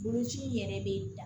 Boloci in yɛrɛ be